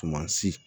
Tumasi